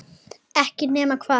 Ekki nema hvað?